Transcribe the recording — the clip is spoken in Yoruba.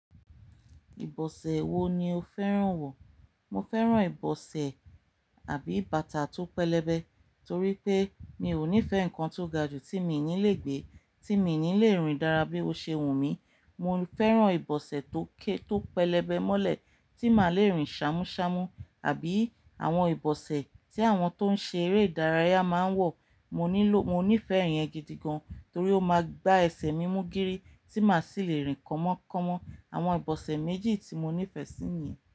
Ìbọ̀sẹ̀ wo ni o fẹ́ràn wọ̀? Mo fẹ́ràn ìbọ̀sẹ̀ àbí bàtà tó pẹlẹbẹ torí pé mi ò nífẹ̀ẹ́ nǹkan tó ga jù tí mi ò ní lè gbé, tí mi ò ní lè rìn dára bí ó ṣe wù mí. Mo fẹ́ràn ìbọ̀sẹ̀ tó ké, tó pẹlẹbẹ mọ́lẹ̀ tí màá le rìn ṣámúṣámú àbí àwọn ìbọ̀sẹ̀ tí àwọn tó ń ṣe eré ìdárayá máa ń wọ̀. Mo nílò, mo nífẹ̀ẹ́ ìyẹn gidi gan torí ó máa gbá ẹsẹ̀ mi mú gírí tí màá sì le rìn kọ̀mọ̀kọ̀mọ̀. Àwọn ìbọ̀sẹ̀ méjì tí mo nífẹ̀ẹ́ sí ni.